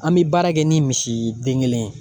An bɛ baara kɛ ni misi den kelen ye.